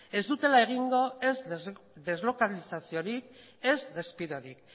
ez dutela egingo ez deslokalizaziorik ez despidorik